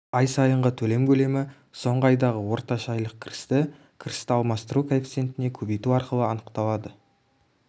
ай сайынғы төлем көлемі соңғы айдағы орташа айлық кірісті кірісті алмастыру коэффициентіне көбейту арқылы анықталады